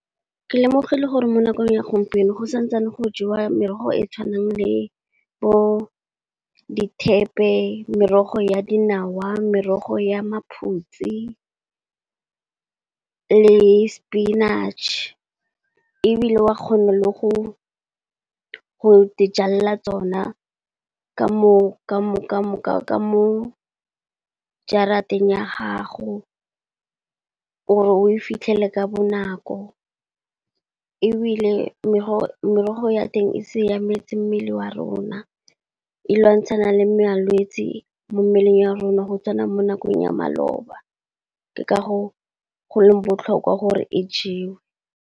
Le lemogile gore mo nakong ya gompieno go santsane go jewa merogo e e tshwanang le bo di thepe, merogo ya dinawa, merogo ya maphutsi, le spinach. Ebile wa kgona le go go di jalela tsona ka mo jarateng ya gago gore o e fitlhele ka bonako ebile merogo ya teng e siametse mmele wa rona. E lwantshana le malwetsi mo mmeleng ya rona go tswana mo nakong ya maloba ke ka go go leng botlhokwa gore e jewe.